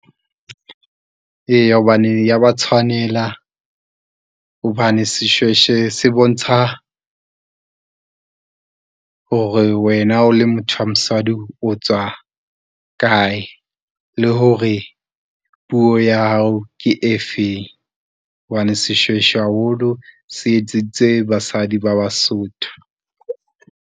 Eya hobane e ya ba tshwanela hobane seshweshwe se bontsha hore wena o le motho wa mosadi o tswang a kae, le hore puo ya hao ke e feng? Hobane seshweshwe haholo se etseditswe basadi ba Basotho.